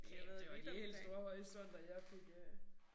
Kæft det var de helt store horisonter jeg fik øh